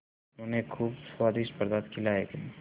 उन्हें खूब स्वादिष्ट पदार्थ खिलाये गये